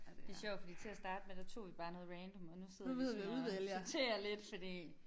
Det sjovt fordi til at starte med der tog vi bare noget random og nu sidder vi sådan og sorterer lidt fordi